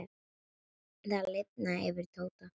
Það lifnaði yfir Tóta.